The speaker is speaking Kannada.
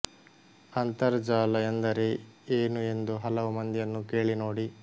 ಅಂತರಜಾಲ ಎಂದರೆ ಏನು ಎಂದು ಹಲವು ಮಂದಿಯನ್ನು ಕೇಳಿ ನೋಡಿ